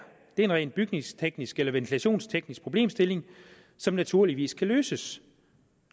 en rent bygningsteknisk eller ventilationsteknisk problemstilling som naturligvis kan løses